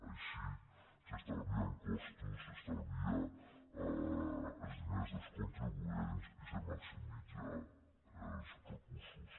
així s’estalvien costos s’estalvien els diners dels contribuents i es maximitzen els recursos